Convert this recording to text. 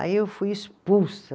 Aí eu fui expulsa.